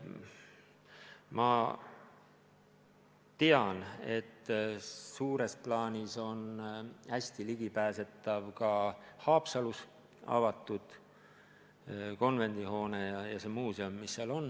Ma tean, et suures plaanis on hästi ligipääsetav ka Haapsalus avatud konvendihoone ja see muuseum, mis seal on.